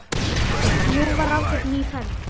Nú var ráðgerð ný ferð.